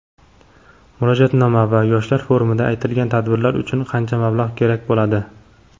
Murojaatnoma va yoshlar forumida aytilgan tadbirlar uchun qancha mablag‘ kerak bo‘ladi?.